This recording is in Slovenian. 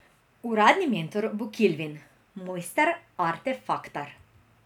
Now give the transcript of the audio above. Uradni mentor bo Kilvin, mojster Artefaktar.